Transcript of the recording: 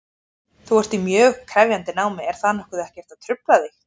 Þú ert í mjög krefjandi námi, er það ekkert að trufla þig?